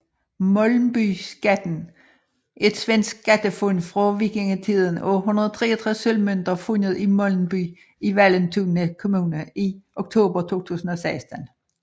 Molnbyskatten er et svensk skattefund fra vikingetiden af 163 sølvmønter fundet i Molnby i Vallentuna kommun i oktober 2016